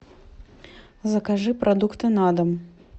закажи продукты на дом